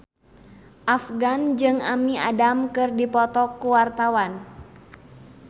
Afgan jeung Amy Adams keur dipoto ku wartawan